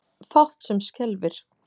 Fátt sem skelfir.